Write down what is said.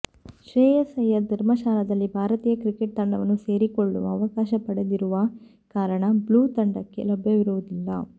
ಶ್ರೇಯಸ್ ಅಯ್ಯರ್ ಧರ್ಮಶಾಲಾದಲ್ಲಿ ಭಾರತೀಯ ಕ್ರಿಕೆಟ್ ತಂಡವನ್ನು ಸೇರಿಕೊಳ್ಳುವ ಅವಕಾಶ ಪಡೆದಿರುವ ಕಾರಣ ಬ್ಲೂ ತಂಡಕ್ಕೆ ಲಭ್ಯವಿರುವುದಿಲ್ಲ